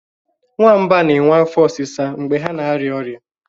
Nwamba na-enwe afo osisa mgbe ha na arịa ọrịa